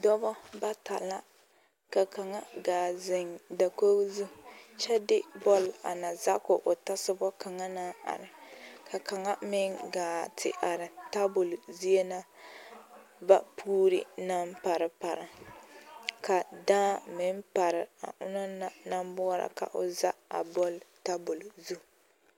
Dɔba bata la ka kaŋa gaa zeŋ dakogi zu kyɛ de bɔl a na za ko a tasoba kaŋa naŋ are ka kaŋa meŋ gaa te are table zie na ba puure naŋ pare pare ka daa meŋ pare a onaŋ naŋ boɔra ka o za a table zu.